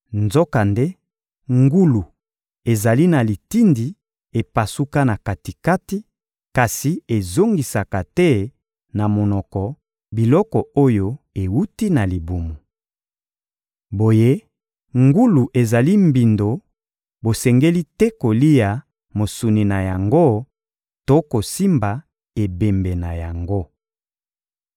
Nzokande ngulu ezali na litindi epasuka na kati-kati kasi ezongisaka te na monoko biloko oyo ewuti na libumu. Boye, ngulu ezali mbindo; bosengeli te kolia mosuni na yango to kosimba ebembe na yango.